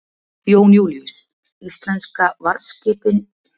Jón Júlíus: Íslensku varðskipið þau eru nú vopnum búin, eru þau ekki herskip?